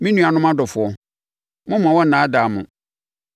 Me nuanom adɔfoɔ, mommma wɔnnnaadaa mo.